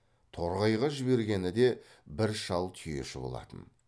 торғайға жібергені де бір шал түйеші болатын